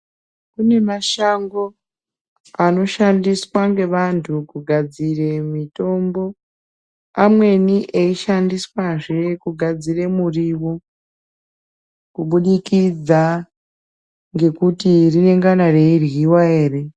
Kune mashango anoshandiswa nevantu kugadzira mitombo amweni eshandiswazve kugadzira muriwo kubudikidza ngekuti runongana reirwuwa ere.